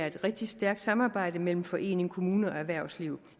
et rigtig stærkt samarbejde mellem forening kommune og erhvervsliv